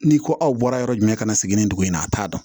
Ni ko aw bɔra yɔrɔ jumɛn ka segin ni dugu in na a t'a dɔn